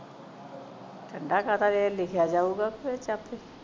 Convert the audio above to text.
ਠੰਡਾ ਕਾਦਾ ਜੇ ਲਿਖਿਆ ਜਾਉਗਾ ਫੇਰ ਤੇ ਆਪੇ